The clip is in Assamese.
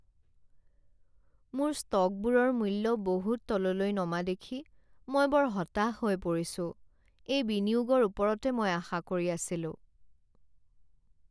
মোৰ ষ্টকবোৰৰ মূল্য বহুত তললৈ নমা দেখি মই বৰ হতাশ হৈ পৰিছোঁ। এই বিনিয়োগৰ ওপৰতে মই আশা কৰি আছিলোঁ।